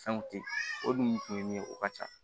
Fɛnw ten o dun kun ye min ye o ka ca